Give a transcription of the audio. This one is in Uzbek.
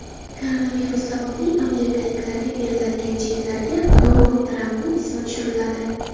Koronavirus sababli amerikaliklarga beriladigan cheklarga Donald Trampning ismi tushiriladi.